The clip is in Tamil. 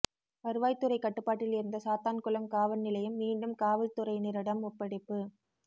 வருவாய்த் துறை கட்டுப்பாட்டில் இருந்த சாத்தான்குளம் காவல் நிலையம் மீண்டும் காவல் துறையினரிடம் ஒப்படைப்பு